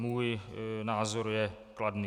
Můj názor je kladný.